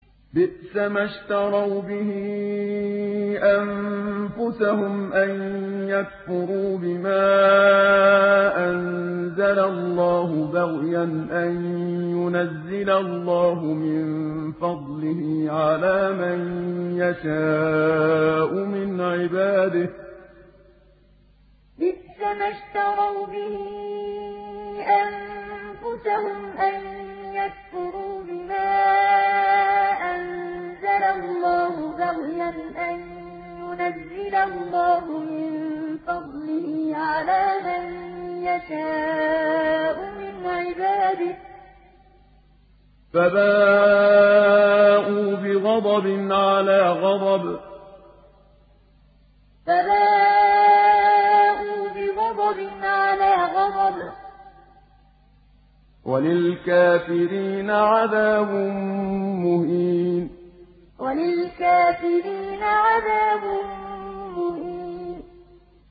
بِئْسَمَا اشْتَرَوْا بِهِ أَنفُسَهُمْ أَن يَكْفُرُوا بِمَا أَنزَلَ اللَّهُ بَغْيًا أَن يُنَزِّلَ اللَّهُ مِن فَضْلِهِ عَلَىٰ مَن يَشَاءُ مِنْ عِبَادِهِ ۖ فَبَاءُوا بِغَضَبٍ عَلَىٰ غَضَبٍ ۚ وَلِلْكَافِرِينَ عَذَابٌ مُّهِينٌ بِئْسَمَا اشْتَرَوْا بِهِ أَنفُسَهُمْ أَن يَكْفُرُوا بِمَا أَنزَلَ اللَّهُ بَغْيًا أَن يُنَزِّلَ اللَّهُ مِن فَضْلِهِ عَلَىٰ مَن يَشَاءُ مِنْ عِبَادِهِ ۖ فَبَاءُوا بِغَضَبٍ عَلَىٰ غَضَبٍ ۚ وَلِلْكَافِرِينَ عَذَابٌ مُّهِينٌ